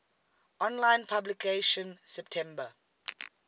online publication september